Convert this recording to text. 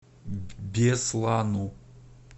беслану